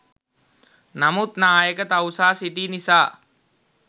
නමුත් නායක තවුසා සිටි නිසා